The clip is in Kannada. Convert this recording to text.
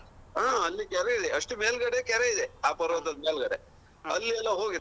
ಹಾ ಅಲ್ಲಿ ಕೆರೆಯಿದೆ ಅಷ್ಟೂ ಮೇಲ್ ಗಡೆ ಕೆರೆಯಿದೆ ಆ ಪರ್ವತದ ಮೇಲ್ ಗಡೆ ಆಲ್ಲಿಯೆಲ್ಲ ಹೋಗಿ.